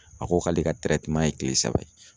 A ko k'ale ka ye kile saba ye.